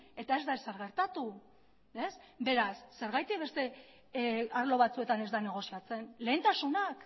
eta ez da ezer gertatu beraz zergatik beste arlo batzuetan ez da negoziatzen lehentasunak